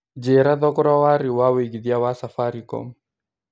njĩira thogora wa rĩu wa wĩigĩthĩa wa safaricom